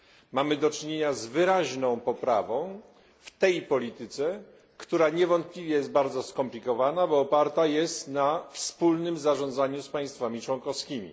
Mamy do czynienia z wyraźną poprawą w tej polityce, która niewątpliwie jest bardzo skomplikowana, bo oparta jest na wspólnym zarządzaniu z państwami członkowskimi.